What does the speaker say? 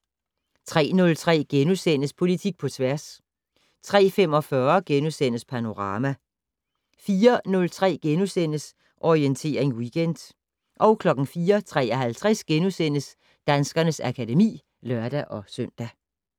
03:03: Politik på tværs * 03:45: Panorama * 04:03: Orientering Weekend * 04:53: Danskernes akademi *(lør-søn)